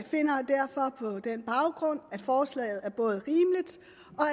finder på den baggrund at forslaget